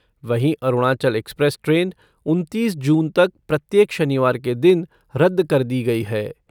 वहीं Arunachal express train उनतीस जून तक प्रत्येक शनिवार के दिन रद्द कर दी गई है।